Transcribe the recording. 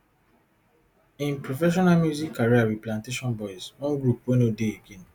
im professional music career wit plantashun boiz one group wey no dey again